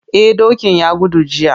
Eh dokin ya gudu jiya.